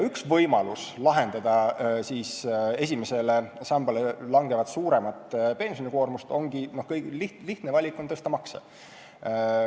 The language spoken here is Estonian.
Üks võimalus lahendada esimesele sambale langevat suuremat pensionikoormust ongi lihtne valik: tõsta makse.